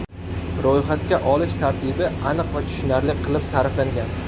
Ro‘yxatga olish tartibi aniq va tushunarli qilib ta’riflangan.